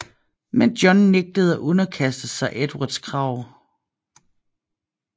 Men John nægtede at underkaste sig Edvards krav